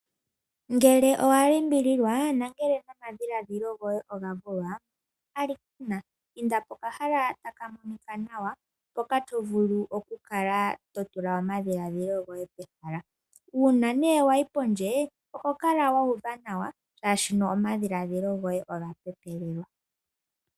Ngele owa limbililwa nenge omadhiladhilo goye oga vulwa, alikana inda pokahala ta ka monika nawa mpoka to vulu okukala to tula omadhiladhilo goye pehala. Uuna nee wa yi pondje oho kala wa uva nawa shaashi omadhiladhilo goye oga pepelelwa.